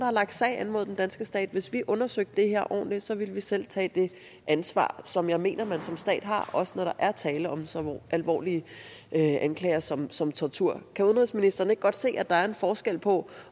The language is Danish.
har lagt sag an mod den danske stat hvis vi undersøgte der her ordentligt ville vi selv tage det ansvar som jeg mener man som stat har også når der er tale om så alvorlige anklager som som tortur kan udenrigsministeren ikke godt se at der er en forskel på